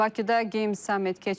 Bakıda Game Summit keçirilib.